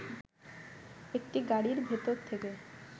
একটি গাড়ির ভেতর থেকে